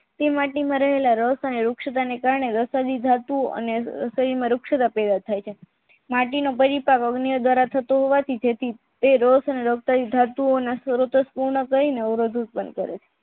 તે માટી માં રહેલા રસ વૃક્ષત ને લખેલી ધાતુ અને તેમાં વૃક્ષત પેદા થાય છે માટીના અન્ય દ્વારા થતો હોબવાથી અવરોધી